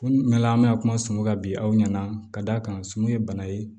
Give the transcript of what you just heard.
Ko n bɛ na an bɛna kuma sumu kan bi aw ɲɛna ka d'a kan sun ye bana ye